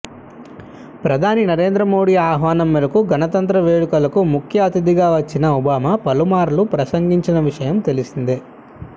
ప్రధాని నరేంద్ర మోడీ ఆహ్వానం మేరకు గణతంత్ర వేడుకలకు ముఖ్య అతిథిగా వచ్చిన ఒబామా పలుమార్లు ప్రసంగించిన విషయం తెలిసిందే